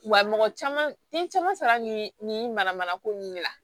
Wa mɔgɔ caman ni caman sara nin mana mana ko nunnu de la